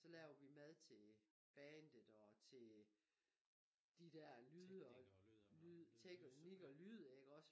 Så laver vi mad til bandet og til de der lyd og lyd teknik og lyd iggås